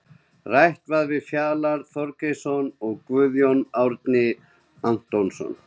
Rætt var við Fjalar Þorgeirsson og Guðjón Árni Antoníusson.